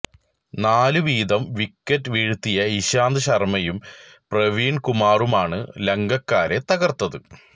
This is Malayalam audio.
നാലു വീതം വിക്കറ്റ് വീഴ്ത്തിയ ഇശാന്ത് ശര്മ്മയും പ്രവീണ് കുമാറുമാണ് ലങ്കക്കാരെ തകര്ത്തത്